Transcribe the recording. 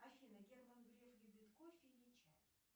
афина герман греф любит кофе или чай